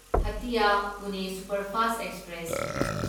Hatia Pune superfast express